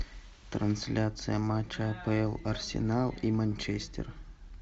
трансляция матча апл арсенал и манчестер